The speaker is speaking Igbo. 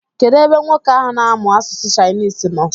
Kedụ ebe nwoke ahụ na-amụ asụsụ Chinese nọ?